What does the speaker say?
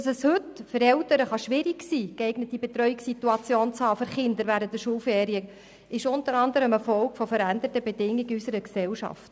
Dass es heute für Eltern schwierig sein kann, für ihre Kinder eine geeignete Betreuungssituation während den Schulferien zu finden, ist unter anderem eine Folge der veränderten Bedingungen in unserer Gesellschaft.